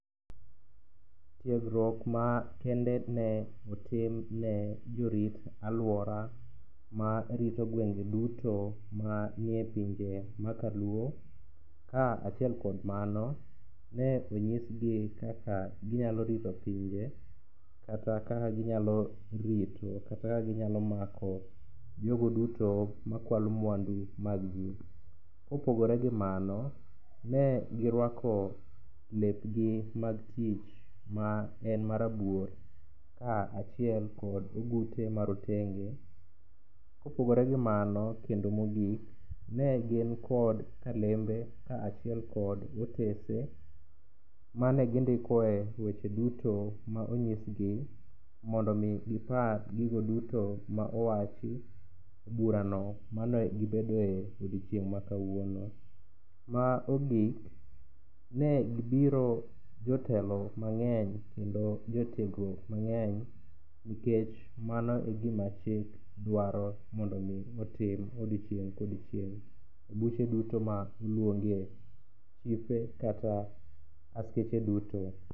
Tiegruok ma kende ne otim ne jorit alwora ma rito gwenge duto manie pinje ma kaluo, ka achiel kod mano ne onyisgi kaka ginyalo rito pinje kata kaka ginyalo rito kata kaka ginyalo mako jogo duto makwalo mwandu mag ji. Kopogore gi mano, ne girwako lepgi mag tich ma en marabuor ka achiel kod ogute ma rotenge. Kopogore gi mano kendo mogik, ne gin kod kalembe ka achiel kod otese ma ne gindikoe weche duto ma onyisgi mondo omi giapr gigo duto ma owachi e burano ma ne gibedoe e odiochieng' makawuono. Ma ogik, ne gibiro jotelo mang'eny kendo jotiegruok mang'eny nikech mano e gima chik dwaro mondo otim e odiochieng' kodiochieng' e buche duto ma oluonge chife kata achiche duto.,